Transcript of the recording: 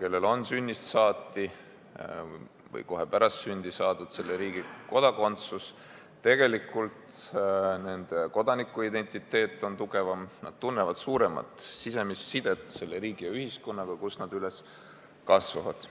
kellel on sünnist saati või kohe pärast sündi saadud selle riigi kodakondsus, on kodanikuidentiteet tugevam, nad tunnevad suuremat sisemist sidet selle riigi ja ühiskonnaga, kus nad üles kasvavad.